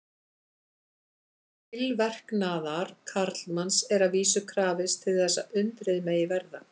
Tilverknaðar karlmanns er að vísu krafist til þess að undrið megi verða.